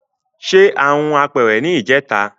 Se ha hun apeere ni ijeta